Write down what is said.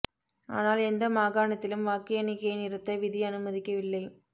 ஆனால் எந்த மாகாணத்திலும் வாக்கு எண்ணிக்கையை நிறுத்த விதி அனுமதிக்கவில்லை